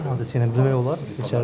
Hansı hadisə ilə bilmək olar?